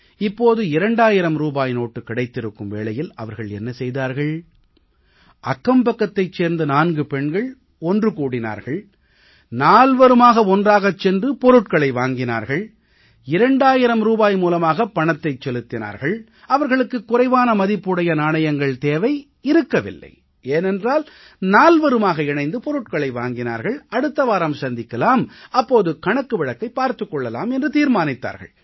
இப்போது 2000 ரூபாய் நோட்டு கிடைத்திருக்கும் வேளையில் அவர்கள் என்ன செய்தார்கள் அக்கம்பக்கத்தைச் சேர்ந்த 4 பெண்கள் ஒன்று கூடினார்கள் நால்வரும் ஒன்றாகச் சென்று பொருட்களை வாங்கினார்கள் 2000 ரூபாய் மூலமாக பணத்தை செலுத்தினார்கள் அவர்களுக்கு குறைவான மதிப்பு உடைய நாணயங்கள் தேவை இருக்கவில்லை ஏனென்றால் நால்வருமாக இணைந்து பொருட்களை வாங்கினார்கள் அடுத்த வாரம் சந்திக்கலாம் அப்போது கணக்கு வழக்கைப் பார்த்துக் கொள்ளலாம் என்று தீர்மானித்தார்கள்